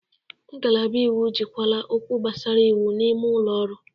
Ngalaba iwu ejikwala okwu gbasara iwu n'ime ụlọ ọrụ.